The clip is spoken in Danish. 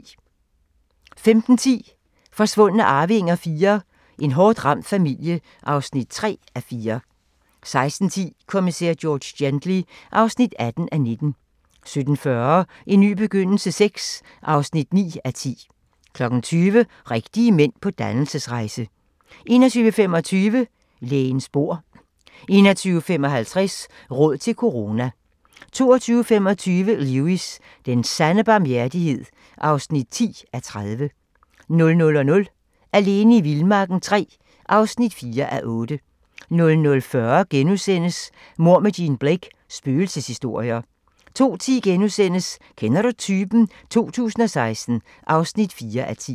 15:10: Forsvundne arvinger IV: En hårdt ramt familie (3:4) 16:10: Kommissær George Gently (18:19) 17:40: En ny begyndelse VI (9:10) 20:00: Rigtige mænd på dannelsesrejse 21:25: Lægens bord 21:55: Råd til corona 22:25: Lewis: Den sande barmhjertighed (10:30) 00:00: Alene i vildmarken III (4:8) 00:40: Mord med Jean Blake: Spøgelseshistorier * 02:10: Kender du typen? 2016 (4:10)*